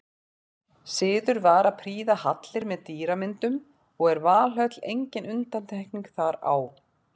Siður var að prýða hallir með dýramyndum og er Valhöll engin undantekning þar á.